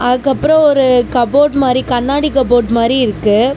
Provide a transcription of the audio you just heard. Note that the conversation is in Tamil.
அதுக்கப்றம் ஒரு கப்போர்டு மாறி கண்ணாடி கப்போர்டு மாறி இருக்கு.